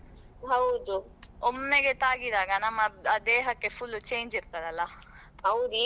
ಹೌದು.